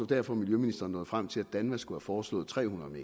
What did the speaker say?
derfor miljøministeren nåede frem til at danva skulle have foreslået tre hundrede